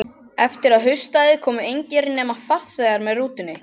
Eftir að haustaði komu engir, nema farþegar með rútunni.